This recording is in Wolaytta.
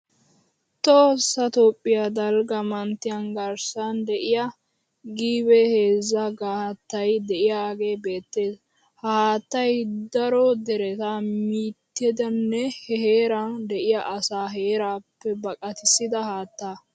Tohossa Toophphiya daligga manttiyan garissan de'iya gibeheezzaa haattay de'iyagee beettes. Ha haattay daro dereta mittidanne he heeran de'iya asaa heeraappe baqatissida haatta.